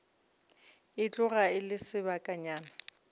e tloga e le sebakanyana